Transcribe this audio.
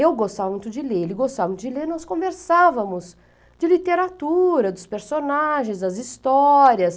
Eu gostava muito de ler, ele gostava muito de ler, nós conversávamos de literatura, dos personagens, das histórias.